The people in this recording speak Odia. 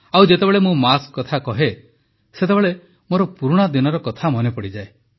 ଆଉ ଯେତେବେଳେ ମୁଁ ମାସ୍କ କଥା କହେ ସେତେବେଳେ ମୋର ପୁରୁଣା ଦିନର କଥା ମନେପଡ଼େ